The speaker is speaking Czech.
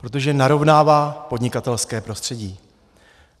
Protože narovnává podnikatelské prostředí.